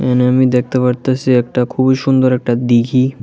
এইখানে আমি দেখতে পারতাছি একটা খুবই সুন্দর একটা দিঘী।